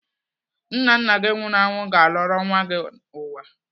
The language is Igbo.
Nna nna gị nwụrụ anwụ ga-alọrọ nwa gị ụwa.